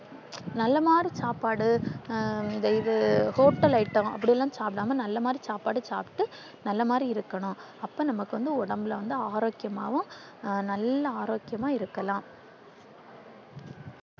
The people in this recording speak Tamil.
நல்ல மாதிரி சாப்பாடு அ த இது hotel item அப்டில்லாம் சாப்டம்மா நல்ல மாறி சாப்பாடு சாப்ட்டு நல்ல மாறி இருக்கணும் அப்போ நமக்கு வந்து ஒடம்புல ஆரோக்கியமாவு நல்ல ஆரோக்கியம்மா இருக்கலாம்